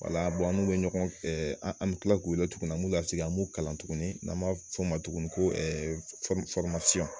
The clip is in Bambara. Wala bɔn an'olu bɛ ɲɔgɔn fɛ an bɛ tila k'u weele tuguni an b'u la sigin an b'u kalan tuguni n'an b'a fɔ o ma tuguni ko .